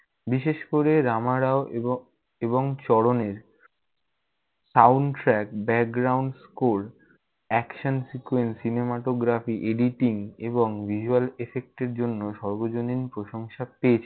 বিশেষ করে রামা রাও এবং এবং চরণের sound track, background-score, action, sequence, cinematography, editing এবং visual effect এর জন্য সর্বজনীন প্রশংসা পেয়েছে।